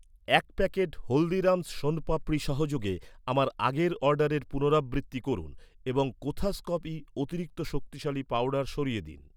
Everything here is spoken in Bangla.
এক প্যাকেট হলদিরাম'স শণপাপড়ি সহযোগে আমার আগের অর্ডারের পুনরাবৃত্তি করুন এবং কোথাস কফি অতিরিক্ত শক্তিশালী পাউডার সরিয়ে দিন।